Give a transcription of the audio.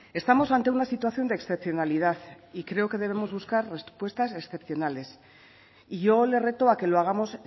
estamos ante una situación de excepcionalidad y creo que debemos buscar respuestas excepcionales y yo le reto a que lo hagamos